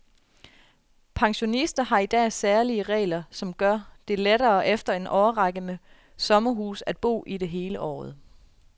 Pensionister har i dag særlige regler, som gør det lettere efter en årrække med sommerhus at bo i det hele året.